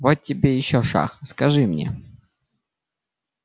вот тебе ещё шах скажи мне